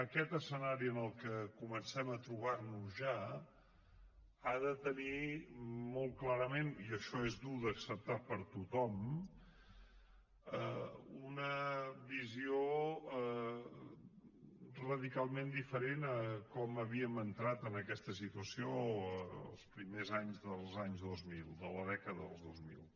aquest escenari en el qual comencem a trobarnos ja ha de tenir molt clarament i això és dur d’acceptar per tothom una visió radicalment diferent de com havíem entrat en aquesta situació els primers anys de la dècada del dos mil